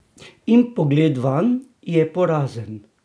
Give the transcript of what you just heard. In pogled vanj je porazen!